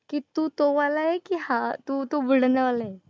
की तू तो वाला आहे की हा? तू तू बुलढाणावाला आहे.